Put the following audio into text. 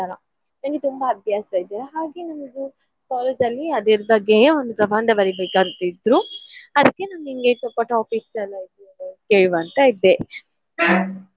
ಈ ತರ ನನ್ಗೆ ತುಂಬ ಹವ್ಯಾಸ ಇದೆಯಲ್ಲ ಹಾಗೆ ನನ್ಗು college ಅಲ್ಲಿ ಅದ್ರ ಬಗ್ಗೆಯೇ ಒಂದ್ ಪ್ರಬಂಧ ಬರಿಬೇಕಂತ ಇದ್ರು ಅದ್ಕೆ ನಾನ್ ನಿನ್ಗೆ ಸ್ವಲ್ಪ topics ಎಲ್ಲ ಕೇಳುವ ಅಂತ ಇದ್ದೆ .